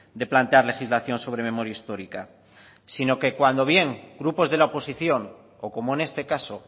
de plantear legislación sobre memoria histórica sino que cuando bien grupos de la oposición o como en este caso